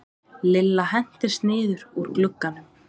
Lilla hentist niður úr glugganum.